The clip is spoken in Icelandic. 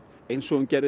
eins og hún gerði